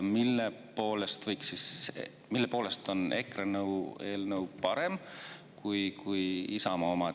Mille poolest on EKRE eelnõu parem kui Isamaa oma?